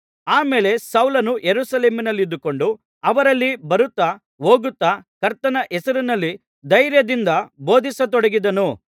ಆ ಮೇಲೆ ಸೌಲನು ಯೆರೂಸಲೇಮಿನಲ್ಲಿದ್ದುಕೊಂಡು ಅವರಲ್ಲಿ ಬರುತ್ತಾ ಹೋಗುತ್ತಾ ಕರ್ತನ ಹೆಸರಿನಲ್ಲಿ ಧೈರ್ಯದಿಂದ ಬೋಧಿಸತೊಡಗಿದನು